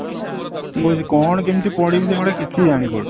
ମୁଁ କହୁଛି କ'ଣ କେମିତି ପଢ଼ିବି ସେ ଗୁଡା କିଛି ଜାଣି ପାରୁନି